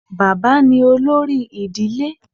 Baba ni olori idile